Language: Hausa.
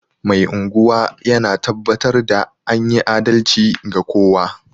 Mai unguwa yana tabbatar da anyi adalci ga kowa